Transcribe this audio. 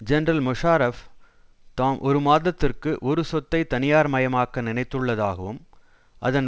general Musharraf தாம் ஒரு மாதத்திற்கு ஒரு சொத்தை தனியார்மயமாக்க நினைத்துள்ளதாகவும் அதன்